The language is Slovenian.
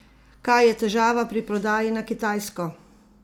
Kaj je težava pri prodaji na Kitajsko?